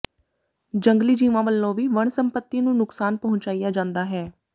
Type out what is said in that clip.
ਜੰਗਲੀ ਜੀਵਾਂ ਵੱਲੋਂ ਵੀ ਵਣ ਸੰਪਤੀ ਨੂੰ ਨੁਕਸਾਨ ਪਹੁੰਚਾਇਆ ਜਾਂਦਾ ਹੈ